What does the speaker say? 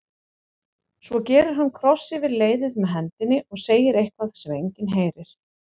Svo gerir hann kross yfir leiðið með hendinni og segir eitthvað sem enginn heyrir.